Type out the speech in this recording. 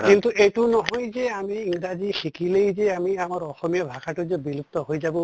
কিন্তু এইটো নহয় যে আমি ইংৰাজী শিকিলেই যে আমি আমাৰ অসমীয়া ভাষাটো যে বিলুপ্ত হৈ যাব বা